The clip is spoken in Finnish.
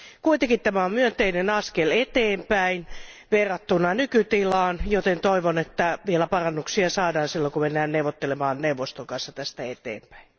Kuitenkin tämä on myönteinen askel eteenpäin verrattuna nykytilaan, joten toivon, että vielä parannuksia saadaan silloin kun mennään neuvottelemaan neuvoston kanssa tästä eteenpäin.